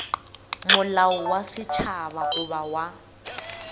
molao wa setšhaba goba wa